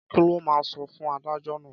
Kí lo máa sọ fún adájọ́ náà?